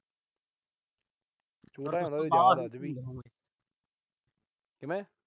ਛੋਟਾ ਜਾ ਹੁੰਦਾ ਸੀ, ਯਾਦ ਨੀ। ਕਿਵੇਂ।